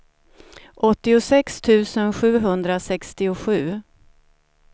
åttiosex tusen sjuhundrasextiosju